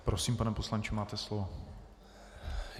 Prosím, pane poslanče, máte slovo.